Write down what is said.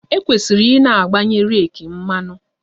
E kwesịrị i na-agbanye reeki mmanụ